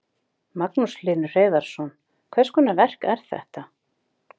Magnús Hlynur Hreiðarsson: Hvers konar verk er þetta?